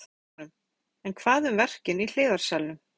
Tengingarnar í huganum En hvað um verkin í hliðarsalnum?